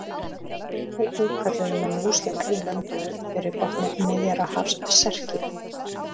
Einnig kölluðu menn múslíma í löndunum fyrir botni Miðjarðarhafs Serki.